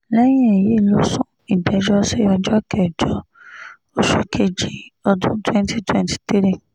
lẹ́yìn èyí ló sún ìgbẹ́jọ́ sí ọjọ́ kẹjọ oṣù kejì ọdún 2023